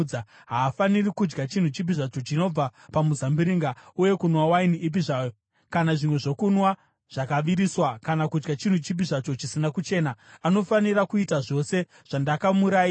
Haafaniri kudya chinhu chipi zvacho chinobva pamuzambiringa, uye kunwa waini ipi zvayo kana zvimwe zvokunwa zvakaviriswa kana kudya chinhu chipi zvacho chisina kuchena. Anofanira kuita zvose zvandakamurayira.”